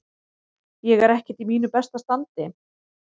Ég er ekkert í mínu besta standi.